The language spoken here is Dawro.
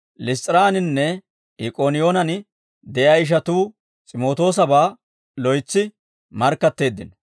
Liss's'iraaninne Ik'ooniyoonen de'iyaa ishatuu S'imootoosabaa loytsi markkatteeddino.